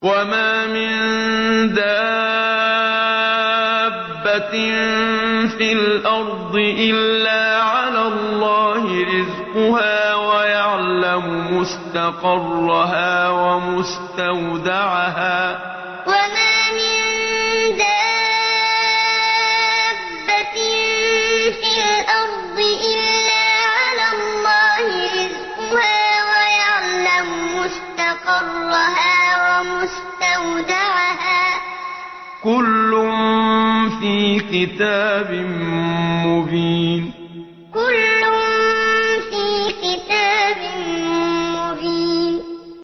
۞ وَمَا مِن دَابَّةٍ فِي الْأَرْضِ إِلَّا عَلَى اللَّهِ رِزْقُهَا وَيَعْلَمُ مُسْتَقَرَّهَا وَمُسْتَوْدَعَهَا ۚ كُلٌّ فِي كِتَابٍ مُّبِينٍ ۞ وَمَا مِن دَابَّةٍ فِي الْأَرْضِ إِلَّا عَلَى اللَّهِ رِزْقُهَا وَيَعْلَمُ مُسْتَقَرَّهَا وَمُسْتَوْدَعَهَا ۚ كُلٌّ فِي كِتَابٍ مُّبِينٍ